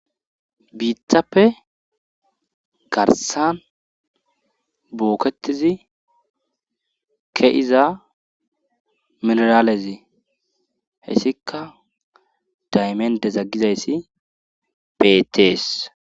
biitappe garsan booketizi ke'iza mineralezi hessikka daymende zaggizayssi beetees